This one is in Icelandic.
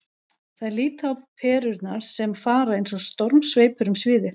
Þær líta á perurnar sem fara eins og stormsveipur um sviðið.